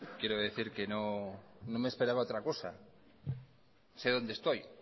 quiero decir que no me esperaba otra cosa